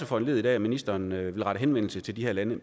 foranlediget af at ministeren vil rette henvendelse til de her lande